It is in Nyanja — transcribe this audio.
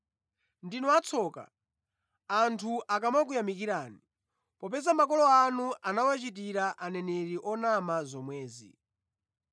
Ndinu atsoka, anthu akamakuyamikirani, popeza makolo anu anawachitira aneneri onama zomwezi.”